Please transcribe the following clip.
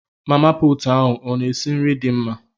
Mama pụtụ ahụ ọ na esi nri dị mma?